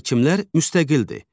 Hakimlər müstəqildir.